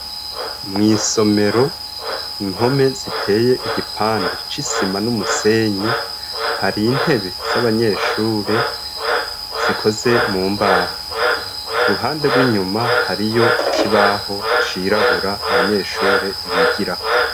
Mw'isomero inkome ziteye igipande c'isima n'umusenyi hari intebe z'abanyeshure zikoze mu mbaho ku ruhande rw'inyuma hariyo icibaho cirabura abanyeshure bigirako.